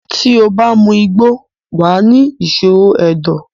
tí o bá mu igbó, wà á ni ìṣòro ẹ̀dọ̀.